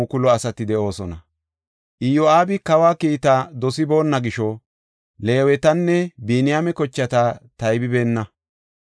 Iyo7aabi kawa kiitta dosiboonna gisho Leewetanne Biniyaame kochata taybeenna.